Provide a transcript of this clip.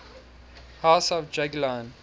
house of jagiellon